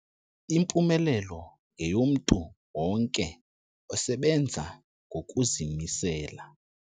Impumelelo yeyomntu wonke osebenza ngokuzimisela.